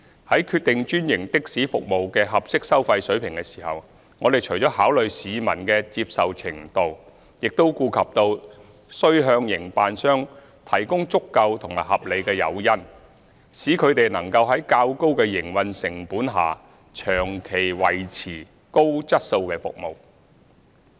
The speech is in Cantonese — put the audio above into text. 在決定專營的士服務的合適收費水平時，我們除了考慮市民的接受程度，亦顧及到須向營辦商提供足夠和合理誘因，使他們能夠在較高的營運成本下長期維持高質素的服務。